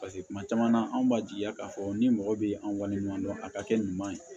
paseke kuma caman na anw b'a jigiya k'a fɔ ni mɔgɔ be an waleɲuman dɔn a ka kɛ ɲuman ye